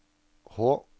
H